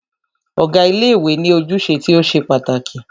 Ọ̀gá ilé ìwé ní ojúṣe tí o ṣe pàtàkì.